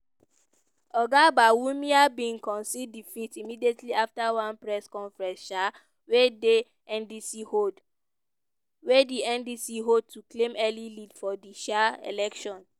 oga bawumia bin concede defeat immediately afta one press conference um wey dey ndic hold wey ndic hold to claim early lead for di um election.